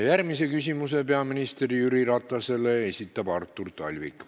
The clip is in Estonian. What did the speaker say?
Järgmise küsimuse peaminister Jüri Ratasele esitab Artur Talvik.